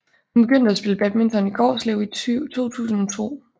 Hun begyndte at spille badminton i Gårslev i 2002